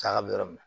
Saga bɛ yɔrɔ min na